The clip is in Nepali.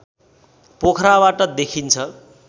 पोखराबाट देखिन्छ